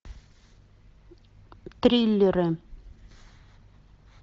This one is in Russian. триллеры